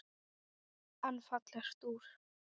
En fallegt úr.